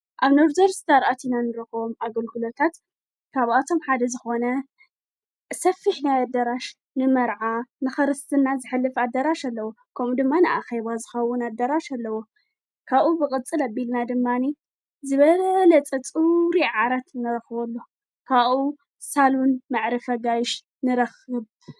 ኣብ ነርዘር ዝታርኣት ኢና ንረኾም ኣግልክሎታት ካብኣቶም ሓደ ዝኾነ ሰፊሕ ናይ ኣደራሽ ንመርዓ ንኸርስፍና ዘሐልፍ ኣደራሽ ኣለዉ ከምኡ ድማንኣኸይዋዝኻዉን ኣደራሽ ኣለዎ ካኡ ብቕጽል ኣቢልና ድማኒ ዝበረለ ጸጽሪ ዓራት ነረኽወ ኣሎ ካኡ ሳሉን መዕረፈጋይሽ ንረኽብ።